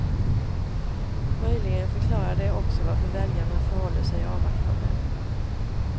Möjligen förklarar det också varför väljarna förhåller sig avvaktande.